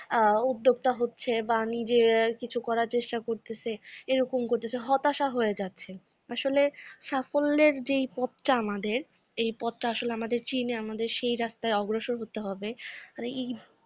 উদ্যোক্তা হচ্ছে বা নিজে কিছু করার চেষ্টা করতাছে, এরকম করতেছে হতাশা হয়ে যাচ্ছে । আসলে সাফল্যের যে এই পথটা আমাদের এই পথটা আসলে আমাদের চীনে আমাদের সেই রাস্তায় অগ্রসর হতে হবে।